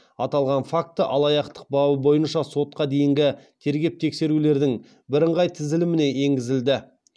аталған факті алаяқтық бабы бойынша сотқа дейінгі тергеп тексерулердің бірыңғай тізіліміне енгізілді